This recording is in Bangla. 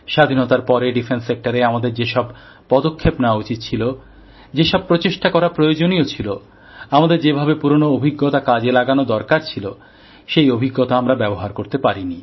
স্বাধীনতার পরে প্রতিরক্ষা ক্ষেত্রে আমাদের যে সব পদক্ষেপ নেওয়া উচিৎ ছিল যেসব উদ্যোগ নেওয়া প্রয়োজনীয় ছিল আমাদের যে ভাবে পুরনো অভিজ্ঞতা কাজে লাগানো দরকার ছিল সেই অভিজ্ঞতা আমরা ব্যবহার করতে পারিনি